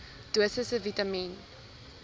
dosisse vitamien